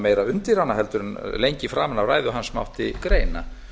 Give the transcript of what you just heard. meira undir hana en lengi framan af ræðu hans mátti greina